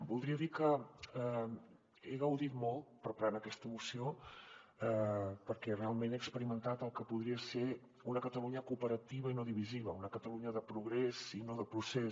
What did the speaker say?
voldria dir que he gaudit molt preparant aquesta moció perquè realment he experimentat el que podria ser una catalunya cooperativa i no divisiva una catalunya de progrés i no de procés